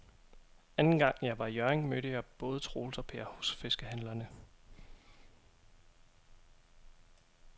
Anden gang jeg var i Hjørring, mødte jeg både Troels og Per hos fiskehandlerne.